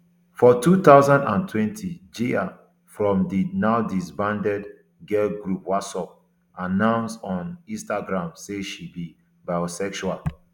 for two thousand and twenty jiae from di nowdisbanded girl group wassup announce on instagram say she be bisexual